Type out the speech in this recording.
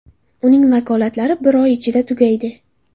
Uning vakolatlari bir oy ichida tugaydi.